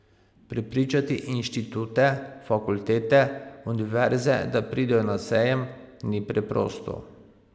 Prepričati inštitute, fakultete, univerze, da pridejo na sejem, ni preprosto.